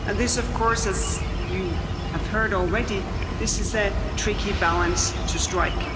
This of course, as you have heard already, is a tricky balance to strike.